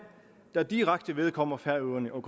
der direkte vedkommer færøerne og